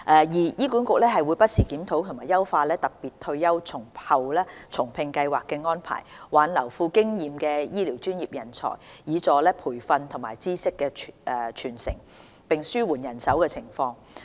二醫管局會不時檢討及優化"特別退休後重聘計劃"的安排，挽留富經驗的醫療專業人才，以助培訓及知識傳承，並紓緩人手情況。